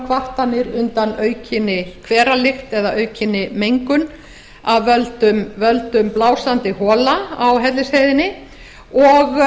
kvartanir undan aukinni hveralykt eða aukinni mengun af völdum blásandi hola á hellisheiðinni og